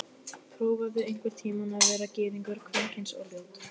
Prófaðu einhvern tíma að vera gyðingur, kvenkyns og ljót.